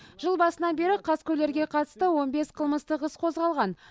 жыл басынан бері қаскөйлерге қатысты он бес қылмыстық іс қозғалған